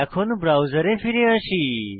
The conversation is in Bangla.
এখন ব্রাউজারে ফিরে আসি